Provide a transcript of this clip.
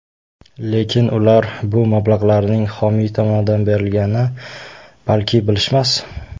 Lekin ular bu mablag‘larning, xomiy tomonidan berilganini balki bilishmas?